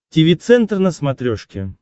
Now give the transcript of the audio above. тиви центр на смотрешке